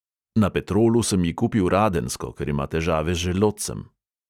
Na petrolu sem ji kupil radensko, ker ima težave z želodcem.